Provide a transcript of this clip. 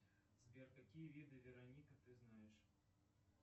сбер какие виды вероника ты знаешь